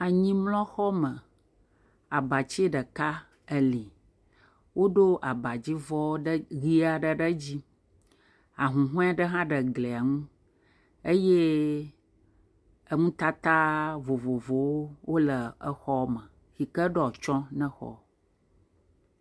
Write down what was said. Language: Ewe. Anyimlɔxɔme abatsi ɖeka eli, woɖo abadzivɔ ɖeka ɖe edzi ahuhɔe aɖe hã le eglia ŋu eye eŋu tata vovovowo wole exɔme yi ke ɖo atsyɔ̃ na xɔa.